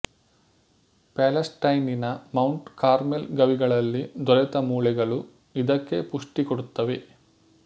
ಪ್ಯಾಲೆಸ್ಟೈನಿನ Mount Carmel ಗವಿಗಳಲ್ಲಿ ದೊರೆತ ಮೂಳೆಗಳು ಇದಕ್ಕೆ ಪುಷ್ಟಿ ಕೊಡುತ್ತವೆ